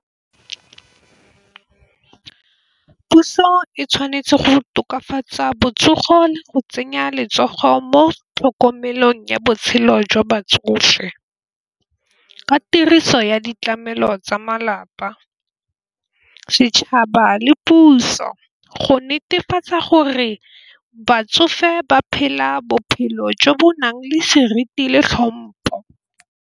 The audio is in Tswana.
Puso e tshwanetse go tokafatsa botsogo le go tsenya letsogo mo tlhokomelong ya botshelo jwa batsofe ka tiriso ya ditlamelo tsa malapa, setšhaba le puso go netefatsa gore batsofe ba phela bophelo jo bo nang le seriti le tlhompo.